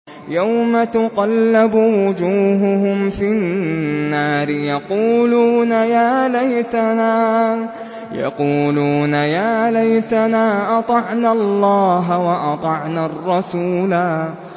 يَوْمَ تُقَلَّبُ وُجُوهُهُمْ فِي النَّارِ يَقُولُونَ يَا لَيْتَنَا أَطَعْنَا اللَّهَ وَأَطَعْنَا الرَّسُولَا